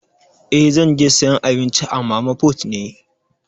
Eh, zan je sayan abinci a mana put ne.